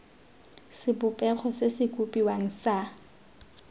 sebopego se se kopiwang sa